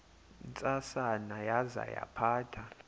ntsasana yaza yaphatha